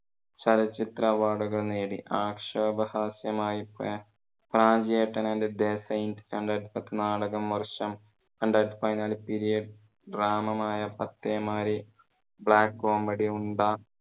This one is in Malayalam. ചലച്ചിത്ര award കൾ നേടി. ആക്ഷേപ ഹാസ്യമായി പോയ പ്രാഞ്ചിയേട്ടൻ and the saint നാടകം, വർഷം, രണ്ടായിരത്തി പതിനാലു period drama യായ പത്തേമാരി, black-comedy ഉണ്ട